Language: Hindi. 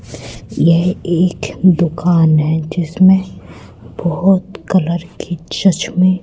ये एक दुकान हैं जिसमें बहोत कलर के चश्मे--